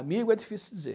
Amigo é difícil dizer.